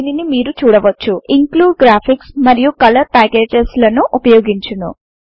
దీనిని మీరు చూడవచ్చు ఇంక్లూడిగ్రాఫిక్స్ మరియు కలర్ ప్యాకేజెస్ లను ఉపయోగించును